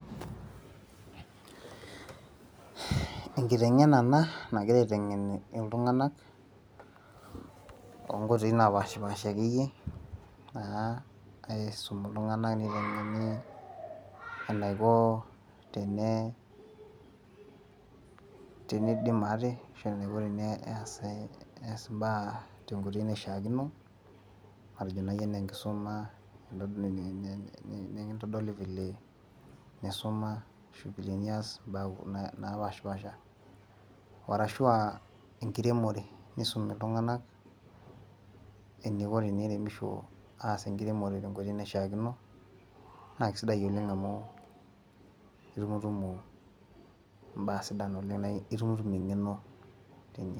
enkitengena ena nagirae aitengen iltunganak, too nkoitoi naapashipaasaha akeyieyie, naa aisum iltunganak neitengeni enaiko peyie, tenidim ate, ashu enaiko peyie eesi, ees imbaa tenkoitoi naishaakino, matejo naake anaa enkisuma entoki, nikintodoli file nisuma, vile nias imbaa naapashipaasha, arashu aa enkiremore, nisumi iltunganak eneiko teniremisho, aas enkiremore tenkoitoi naishaakino, naa kisidai oleng amu itumutumu imbaa sidan, itumutumu engeno.